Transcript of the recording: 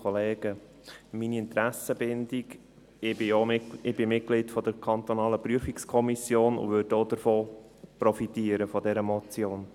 Meine Interessenbindung: Ich bin Mitglieder der kantonalen Prüfungskommission und würde von dieser Motion profitieren.